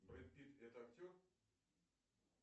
брэд питт это актер